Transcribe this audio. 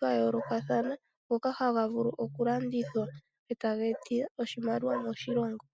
gayoolokathana ngoka haga vulu oku landithwa e taga eta oshimaliwa moshilongo.